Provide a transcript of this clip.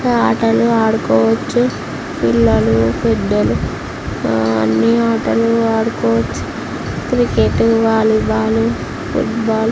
ఇంకా ఆటలు ఆడుకోవచ్చు పిల్లలు పెద్ధలు అన్ని ఆటలు ఆడుకోవచ్చు cricket volleyball football .